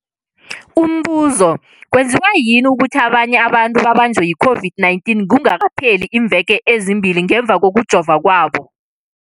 Umbuzo, kwenziwa yini ukuthi abanye abantu babanjwe yi-COVID-19 kungakapheli iimveke ezimbili ngemva kokujova kwabo?